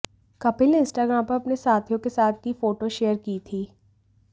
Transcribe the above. कपिल ने इंस्टाग्राम पर अपने साथियों के साथ की फोटो शेयर की थी